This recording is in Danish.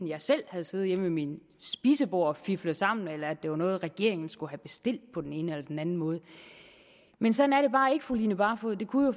jeg selv havde siddet hjemme ved mit spisebord og flikket sammen eller at det var noget regeringen skulle have bestilt på den ene eller den anden måde men sådan er det bare ikke fru line barfod det kunne